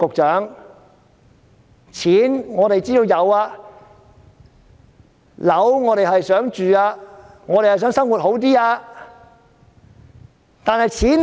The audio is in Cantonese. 錢，我們知道有；樓，我們也很想住，我們也想生活好一些。